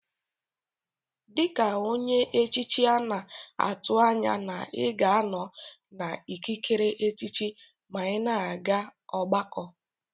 Dika onye echichi ana atu anya na iga anọ na ikikere echichi ma ina aga ọgbakọ.